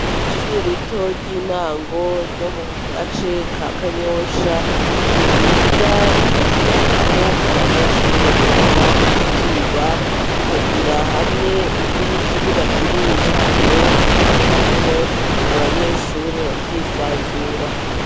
Ishure rito ry'intango, ryo mu gace ka Kanyosha, ni ryiza rifise aho abanyeshure bugama akazuba, rikagira hamwe n'ikibuga kinini cane bakiniramwo abanyeshure bakisanzura.